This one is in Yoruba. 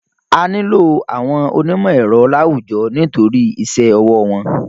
A nílò àwọn onímọ̀-ẹ̀rọ láwùjọ nítorí iṣẹ́ ọwọ́ wọn.